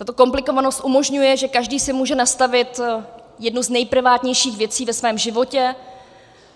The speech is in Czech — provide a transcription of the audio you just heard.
Tato komplikovanost umožňuje, že každý si může nastavit jednu z nejprivátnějších věcí ve svém životě,